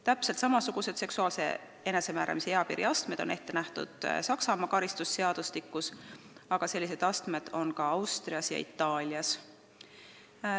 Täpselt samasugused seksuaalse enesemääramise eapiiri astmed nagu eelnõus on Saksamaa karistusseadustikus, aga sellised astmed kehtivad ka Austrias ja Itaalias.